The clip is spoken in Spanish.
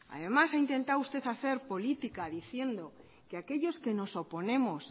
además ha intentado usted hacer política diciendo que aquellos que nos oponemos